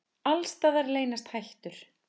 Alls staðar leynast hættur.